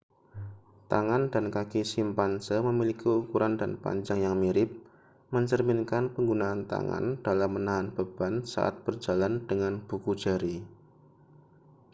tangan dan kaki simpanse memiliki ukuran dan panjang yang mirip mencerminkan penggunaan tangan dalam menahan beban saat berjalan dengan buku jari